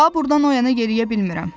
Daha burdan oyana yeriyə bilmirəm.